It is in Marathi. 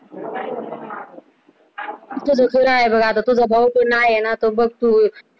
आता तुझा भाऊ पण आहे ना तर आता बस तू